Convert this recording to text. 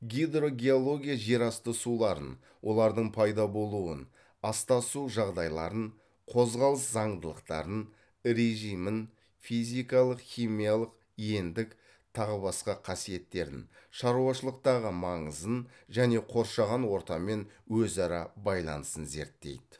гидрогеология жер асты суларын олардың пайда болуын астасу жағдайларын қозғалыс заңдылықтарын режимін физикалық химиялық ендік тағы басқа қасиеттерін шаруашылықтағы маңызын және қоршаған ортамен өзара байланысын зерттейді